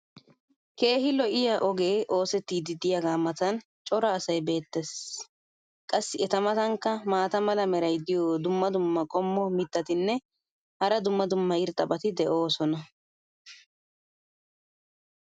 keehi lo'iya ogee oosettidi diyaagaa matan cora asay beetees. qassi eta matankka maata mala meray diyo dumma dumma qommo mitattinne hara dumma dumma irxxabati de'oosona.